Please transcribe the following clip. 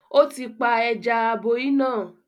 Ó ti pa “ ẹja-aboí” náà